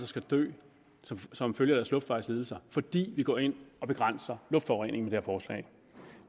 skal dø som følge af luftvejslidelser fordi vi går ind og begrænser luftforureningen med forslag